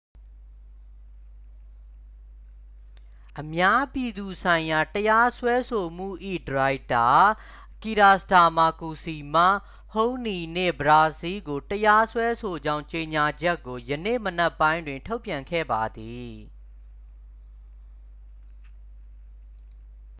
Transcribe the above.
အများပြည်သူဆိုင်ရာတရားစွဲဆိုမှု၏ဒါရိုက်တာ ကီရာစတာမာ qc မှ ဟုဟ်နီး နှင့် ပရာစီ ကို တရားစွဲဆိုကြောင်းကြေညာချက်ကို ယနေ့မနက်ပိုင်းတွင် ထုတ်ပြန်ခဲ့ပါသည်